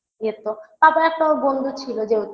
যেত papa একটা ওর বন্ধু ছিল যেহেতু